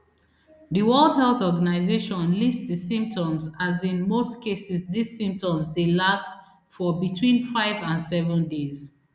di world health organization list di symptoms as in most cases dis symptoms dey last for between five and seven days